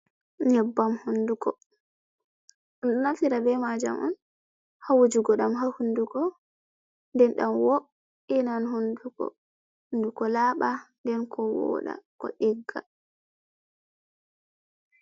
Nyebbam hondugo. Beɗo naftira be majam on ha wujugo dau ha hundugo. Nden dam wo’inan hondugo hunduko laba nden ko wooda ko digga.